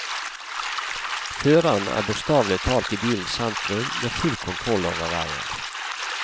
Føreren er bokstavelig talt i bilens sentrum, med full kontroll over veien.